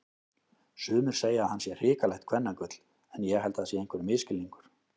Sumir segja að hann sé hrikalegt kvennagull en ég held það sé einhver misskilningur.